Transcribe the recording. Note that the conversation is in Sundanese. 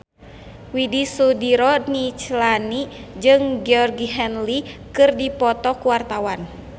Widy Soediro Nichlany jeung Georgie Henley keur dipoto ku wartawan